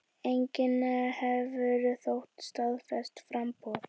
Enginn hefur þó staðfest framboð.